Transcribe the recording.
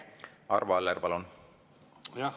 Arvo Aller, palun!